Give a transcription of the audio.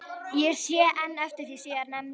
Ég sé enn eftir því síðar nefnda.